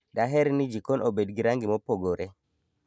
Daher ni jikon obed gi rangi mopogore.